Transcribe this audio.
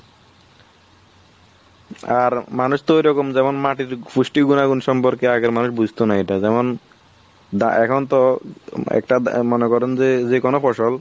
আর মানুষ তো ওই রকম যখন মাটির পুষ্টি গুনাগুন সম্পর্কে আগের মানুষ বুজতো না এটা যেমন দা এখন তো একটা মনে করেন যে যে কোনো ফসল